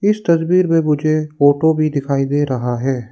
इस तस्वीर में मुझे फोटो भी दिखाई दे रहा है।